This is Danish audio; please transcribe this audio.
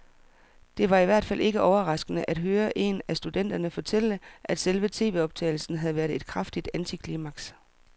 Det var i hvert fald ikke overraskende at høre en af studenterne fortælle, at selve tvoptagelsen havde været et kraftigt antiklimaks.